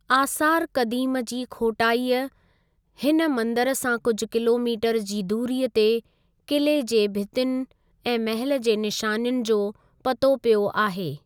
आसार क़दीम जी खोटाईअ हिन मंदरु सां कुझु किलोमीटर जी दूरीअ ते किले जी भितियुनि ऐं महल जी निशानियुनि जो पतो पियो आहे ।